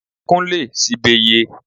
Kún lè sibe ye